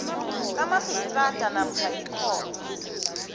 kamarhistrada namkha ikhotho